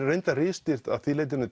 ritstýrt að því leyti